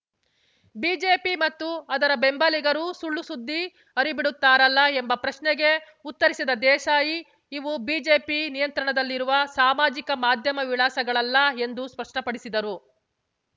BJP ಮತ್ತು ಅದರ ಬೆಂಬಲಿಗರು ಸುಳ್ಳು ಸುದ್ದಿ ಹರಿಬಿಡುತ್ತಾರಲ್ಲ ಎಂಬ ಪ್ರಶ್ನೆಗೆ ಉತ್ತರಿಸಿದ ದೇಸಾಯಿ ಇವು ಬಿಜೆಪಿ ನಿಯಂತ್ರಣದಲ್ಲಿರುವ ಸಾಮಾಜಿಕ ಮಾಧ್ಯಮ ವಿಳಾಸಗಳಲ್ಲ ಎಂದು ಸ್ಪಷ್ಟಪಡಿಸಿದರು